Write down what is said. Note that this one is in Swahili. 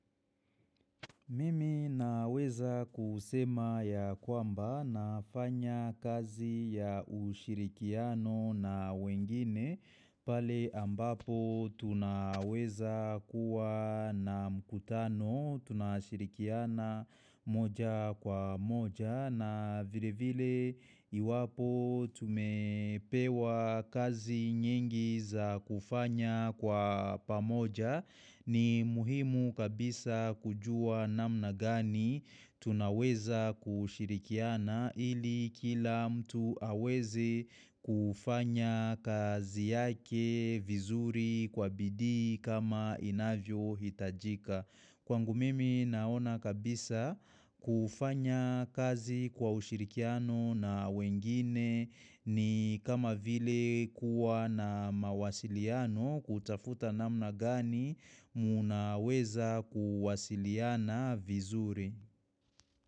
Mimi naweza kusema ya kwamba nafanya kazi ya ushirikiano na wengine pale ambapo tunaweza kuwa na mkutano tunashirikiana moja kwa moja na vile vile iwapo tumepewa kazi nyingi za kufanya kwa pamoja ni muhimu kabisa kujua namna gani tunaweza kushirikiana ili kila mtu aweze kufanya kazi yake vizuri kwa bidii kama inavyohitajika. Kwangu mimi naona kabisa kufanya kazi kwa ushirikiano na wengine ni kama vile kuwa na mawasiliano kutafuta namna gani mnaweza kuwasiliana vizuri.